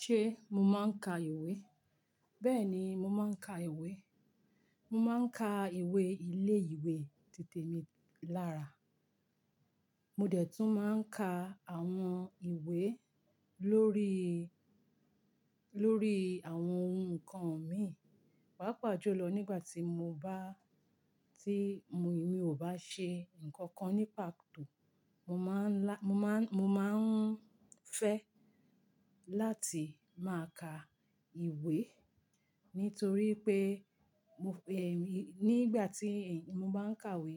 Ṣé mo máa ń ka ìwé? Bẹ́ẹ̀ni mo máa ń ka ìwé. Mo máa ń ka ìwé ilé ìwé titẹ̀ mi lára. Mo dẹ̀ tún máa ń ka àwọn ìwé lórí, lórí àwọn oun nǹkan mi. Paapàá jù lọ nígbà tí mo bá, tí mi ò bá ṣe nǹkan kan ní pàtó, mo máa ń lá, mo máa ń, mo máa ń fẹ́ láti máa ka ìwé. Nítorí pé mo, è, nígbà tí èmi, mo bá ń kàwé,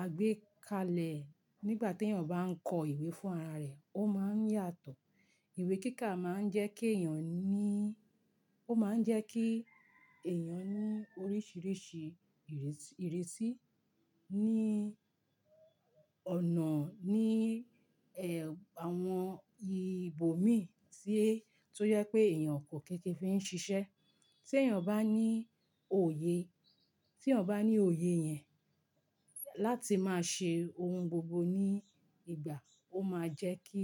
àgbékalẹ̀ nígbà tí èèyàn bá ń kọ ìwé fún ara rẹ̀, ó máa ń yàtọ̀. Ìwé kíkà máa ń jẹ́ kí èèyàn ní, ó máa ń jẹ́ kí èèyàn ní oríṣìíríṣìí ìrẹs- ìrisí ní ọ̀nà, ní, ẹ, àwọn ìbò mi tí, tó yẹ pé èèyàn kò kin fi ń ṣiṣẹ́. Tí èèyàn bá ní òye, tí èèyàn bá ní òye yẹn láti máa ṣe oun gbogbo ní ìgbà, ó máa jẹ́ kí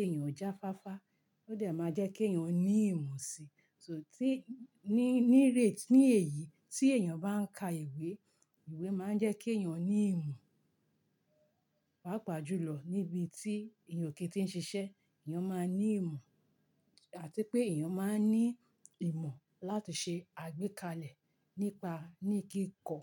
èèyàn jáfáfá. Ó dẹ̀ máa jẹ́ kí èèyàn ní ìmù sí. So tí, ní, ní rè, ní èyí tí èèyàn bá ń ka ìwé, ìwé máa ń jẹ́ kí èèyàn ní ìmo. Paapàá jù lọ níbi tí èèyàn kin tíń ṣiṣẹ́, èèyàn máa ní ìmo. Àti pé èèyàn máa ń ní ìmọ̀ láti ṣe àgbékalẹ̀ nípa, ní kíkọ.